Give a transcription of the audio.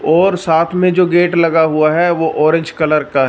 और साथ में जो गेट लगा हुआ है वह ऑरेंज कलर का--